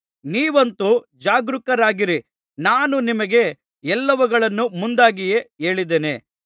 ನೀವಂತೂ ಜಾಗರೂಕರಾಗಿರಿ ನಾನು ನಿಮಗೆ ಎಲ್ಲವುಗಳನ್ನು ಮುಂದಾಗಿಯೇ ಹೇಳಿದ್ದೇನೆ